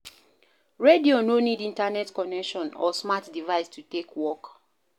Radio no need internet connection or smart device to take work